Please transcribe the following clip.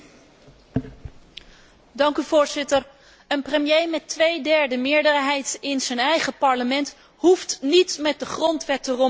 Voorzitter, een premier met twee derde meerderheid in zijn eigen parlement hoeft niet met de grondwet te rommelen om resultaten te boeken.